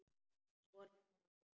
Svona okkar á milli.